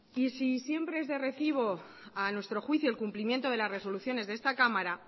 y si siempre es de recibo a nuestro juicio el cumplimiento de las resoluciones de esta cámara